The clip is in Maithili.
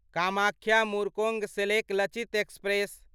कामाख्या मुर्कोङसेलेक लचित एक्सप्रेस